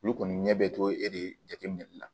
Olu kɔni ɲɛ bɛ to e de jateminɛli la